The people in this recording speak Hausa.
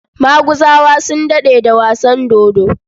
Maguzawa sun daɗe da wasan dodo.